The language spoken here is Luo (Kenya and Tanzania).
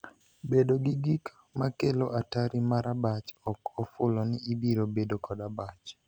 Bedo gi gik makelo atari mar abach ok ofulo ni ibiro bedo kod abach.